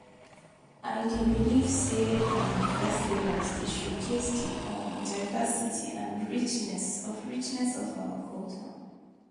I dey believe say um festivals dey showcase di um diversity and richness of richness of our culture.